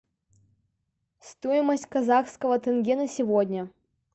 стоимость казахского тенге на сегодня